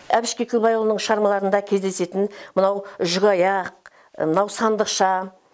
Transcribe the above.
әбіш кекілбайұлының шығармаларында кездесетін мынау жүкаяқ мынау сандықша